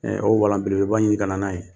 Ɛɛ o walan belebeleba in ka na n'a ye.